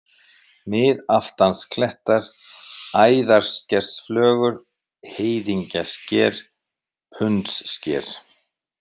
Miðaftansklettar, Æðarskersflögur, Heiðingjasker, Pundssker